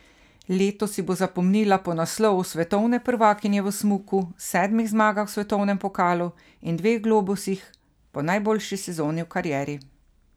Leto si bo zapomnila po naslovu svetovne prvakinje v smuku, sedmih zmagah v svetovnem pokalu in dveh globusih, po najboljši sezoni v karieri.